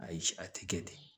Ayi a ti kɛ ten